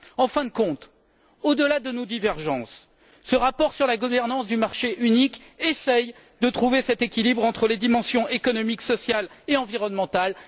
En fin de compte, au delà de nos divergences, ce rapport sur la gouvernance du marché unique essaie de trouver cet équilibre entre les dimensions économiques, sociales et environnementales.